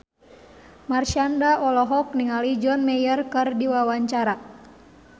Marshanda olohok ningali John Mayer keur diwawancara